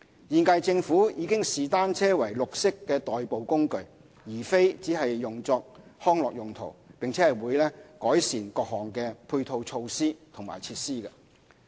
現屆政府已視單車為綠色代步工具，而非只用作康樂用途，並會改善各項配套措施和設施。